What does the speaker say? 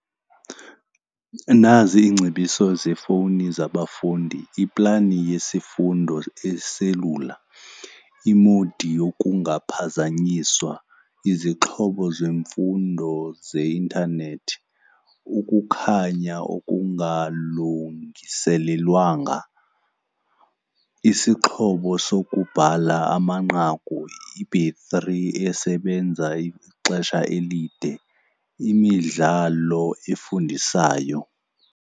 Nazi iingcebiso zefowuni zabafundi, iplani yesifundo eselula, imodi yokungaphazanyiswa, izixhobo zemfundo zeintanethi, ukukhanya okungalungiselelwanga, isixhobo sokubhala amanqaku, ibhetri esebenza ixesha elide, imidlalo efundiswayo.